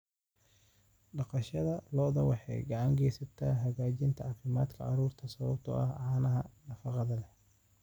Dhaqashada lo'du waxay gacan ka geysataa hagaajinta caafimaadka carruurta sababtoo ah caanaha nafaqada leh.